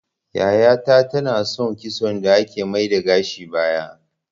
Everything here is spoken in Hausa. Yaya ta ta na son kitson da ake mai da gashi baya